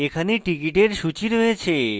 এখানে tickets সূচী রয়েছে